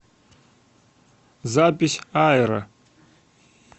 запись аэро